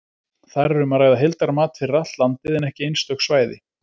Þar er um að ræða heildarmat fyrir allt landið, en ekki einstök svæði.